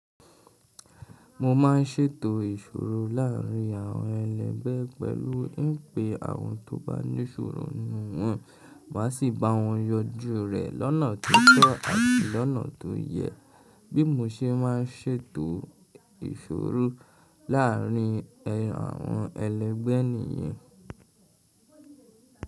Mo ma n ṣètò ìṣòro láàrin àwọn ẹlẹgbẹ́ pẹ̀lú n pe àwọn tó bá ní ṣòro nù wọn, mà sì bá wọn yańjú rẹ̀ lọ́nà tó tọ́ àti lọ́nà tó yẹ, bí mo ṣe ma n ṣètò ìṣòro láàrin àwọn ẹlẹgbẹ́ ènìyàn.